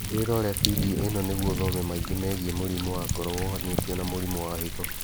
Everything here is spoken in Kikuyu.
Wĩrore bindio ĩno nĩguo ũthome maingĩ megiĩ mũrimũ wa ngoro wohanĩtio na mũrimũ wa higo